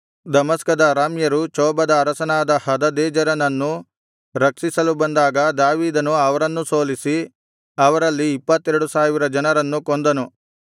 ದಮಸ್ಕದ ಅರಾಮ್ಯರು ಚೋಬದ ಅರಸನಾದ ಹದದೆಜರನನ್ನು ರಕ್ಷಿಸಲು ಬಂದಾಗ ದಾವೀದನು ಅವರನ್ನೂ ಸೋಲಿಸಿ ಅವರಲ್ಲಿ ಇಪ್ಪತ್ತೆರಡು ಸಾವಿರ ಜನರನ್ನು ಕೊಂದನು